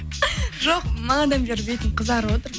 жоқ бағанадан бері бетім қызарып отыр